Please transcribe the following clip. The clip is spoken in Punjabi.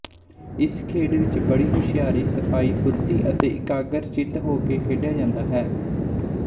ਇਸ ਖੇਡ ਵਿੱਚ ਬੜੀ ਹੁਸ਼ਿਆਰੀ ਸਫ਼ਾਈ ਫੁਰਤੀ ਤੇ ਇਕਾਗਰ ਚਿੱਤ ਹੋਕੇ ਖੇਡਿਆ ਜਾਂਦਾ ਹੈ